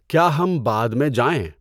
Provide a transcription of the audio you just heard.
کیا ہم بعد میں جائیں؟